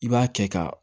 I b'a kɛ ka